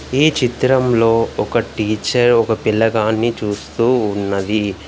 ఈ చిత్రంలో ఒక టీచర్ ఒక పిల్లగాన్ని చూస్తూ ఉన్నది.